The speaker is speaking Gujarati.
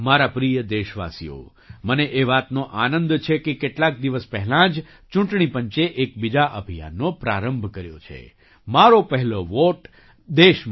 મારા પ્રિય દેશવાસીઓ મને એ વાતનો આનંદ છે કે કેટલાક દિવસ પહેલાં જ ચૂંટણી પંચે એક બીજા અભિયાનનો પ્રારંભ કર્યો છે મારો પહેલો વૉટ દેશ માટે